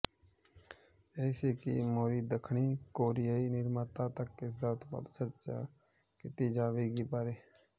ਇਹ ਸੀ ਮੋਹਰੀ ਦੱਖਣੀ ਕੋਰੀਆਈ ਨਿਰਮਾਤਾ ਤੱਕ ਇਸ ਉਤਪਾਦ ਚਰਚਾ ਕੀਤੀ ਜਾਵੇਗੀ ਬਾਰੇ